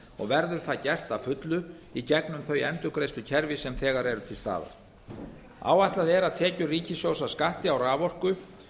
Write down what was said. og verður það gert að fullu í gegnum þau endurgreiðslukerfi sem þegar eru til staðar áætlað er að tekjur ríkissjóðs af skatti á raforku